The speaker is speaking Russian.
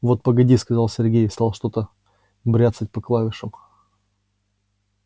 вот погоди сказал сергей и стал что-то бряцать по клавишам